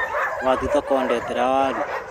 Wathiĩ thoko ndehera waru